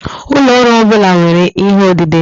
Ụlọ ọrụ ọ bụla nwere ihe odide.